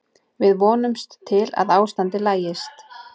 Við vonumst til að ástandið lagist.